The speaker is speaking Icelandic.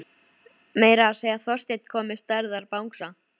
Meira að segja Þorsteinn kom með stærðar bangsa.